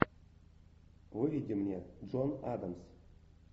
выведи мне джон адамс